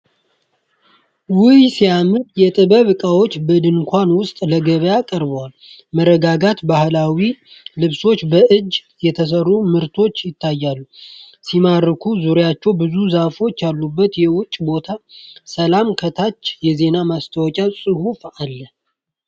ውይ ሲያምር! የጥበብ እቃዎች በድንኳን ውስጥ ለገበያ ቀርበዋል። መረጋጋት! ባህላዊ ልብሶችና በእጅ የተሰሩ ምርቶች ይታያሉ። ሲማርክ! ዙሪያውን ብዙ ዛፎች ያሉበት የውጭ ቦታ። ሰላም! ከታች የዜና ማስታወቂያ ፅሁፍ አለ።